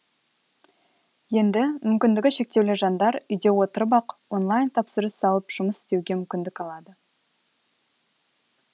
енді мүмкіндігі шектеулі жандар үйде отырып ақ онлайн тапсырыс алып жұмыс істеуге мүмкіндік алады